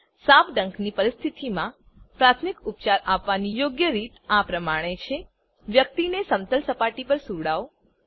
સાપ ડંખની પરિસ્થિતિમાં પ્રાથમિક ઉપચાર આપવાની યોગ્ય રીત આ પ્રમાણે છે વ્યક્તિને સમતલ સપાટી પર સુવડાવો